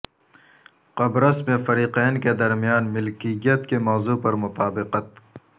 قبرص میں فریقین کے درمیان ملکیت کے موضوع پر مطابقت